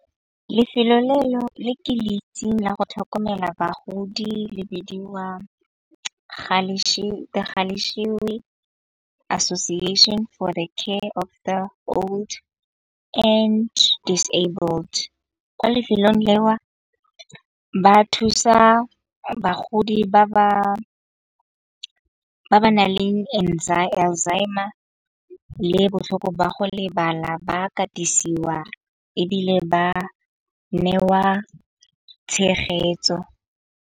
Lefelo le ke le itsing la go tlhokomela bagodi le bidiwa Association, For the care after old and disabled. Ko lefelong le wa ba thusa bagodi ba ba nang le Alzheimer le botlhoko ba go lebala ba katisiwa ebile ba newa tshegetso.